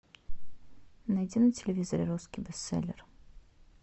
найди на телевизоре русский бестселлер